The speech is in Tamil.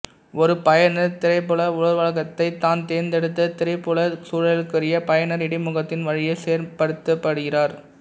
ஒரு பயனர் திரைப்புல உருவகத்தை தான் தேர்ந்தெடுத்த திரைப்புலச் சூழலுக்குரிய பயனர் இடைமுகத்தின் வழியே செயற்படுத்துகிறார்